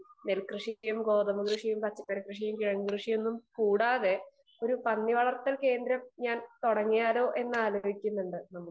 speaker 2 നെൽകൃഷിയും ഗോതമ്പ് കൃഷിയും പച്ചക്കറി കൃഷിയും കിഴങ്ങു കൃഷിയും കൂടാതെ ഒരു പന്നി വളർത്തൽ കേന്ദ്രം ഞാൻ തുടങ്ങിയാലോ എന്ന് ആലോചിക്കുന്നുണ്ട്